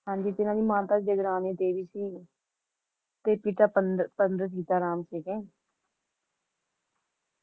ਹਾਂਜੀ ਜਿਨ੍ਹਾਂ ਦੀ ਮਾਤਾ ਜਗਰਾਨੀ ਦੇਵੀ ਸੀ ਤੇ ਪਿਤਾ ਪੰਡ ਪੰਡਿਤ ਸੀਤਾ ਰਾਮ ਸੀਗੇ